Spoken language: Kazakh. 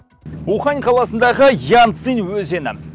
ухань қаласындағы янцзы өзені